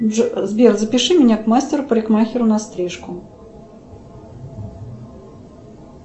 сбер запиши меня к мастеру парикмахеру на стрижку